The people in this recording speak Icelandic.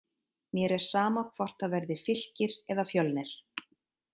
Mér er sama hvort það verði Fylkir eða Fjölnir.